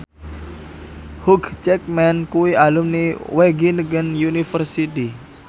Hugh Jackman kuwi alumni Wageningen University